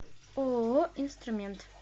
ооо инструмент